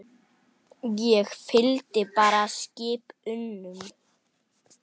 Ég fylgdi bara skip unum.